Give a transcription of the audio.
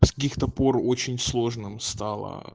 с каких то пор очень сложно стало